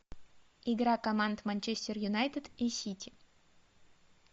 игра команд манчестер юнайтед и сити